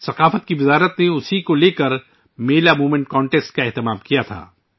ثقافت کی وزارت نے ، اسی سلسلے میں ایک میلہ مومنٹ مقابلہ منعقد کیا تھا